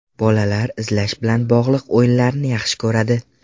Bolalar izlash bilan bog‘liq o‘yinlarni yaxshi ko‘radi.